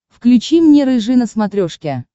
включи мне рыжий на смотрешке